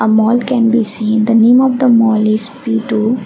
mall can be seen the name of the mall is V two.